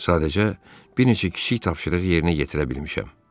Sadəcə bir neçə kiçik tapşırıq yerinə yetirə bilmişəm.